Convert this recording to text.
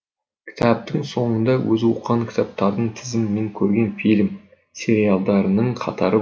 кітаптың соңында өзі оқыған кітаптардың тізімі мен көрген фильм сериалдарының қатары бар